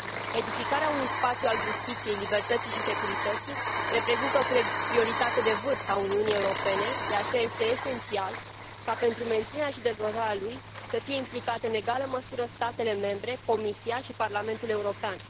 Edificarea unui spațiu al justiției, libertății și securității, reprezintă o prioritate de vârf a Uniunii Europene, de aceea, este esențial ca pentru menținerea și dezvoltarea lui să fie implicate în egală măsură statele membre, Comisia și Parlamentul European.